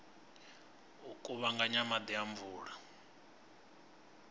u kuvhanganya maḓi a mvula